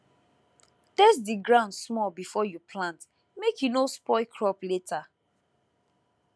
test the ground small before you plant make e no spoil crop later